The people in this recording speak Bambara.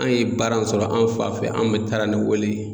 An ye baara in sɔrɔ an fa fɛ an mɛ taara ni o le